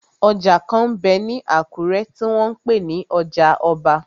Ọjà kan m bẹ ní Àkúrẹ́ tí wọ́n n pè ní ọjà ọba.